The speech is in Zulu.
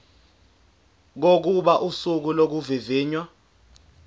kokuba usuku lokuvivinywa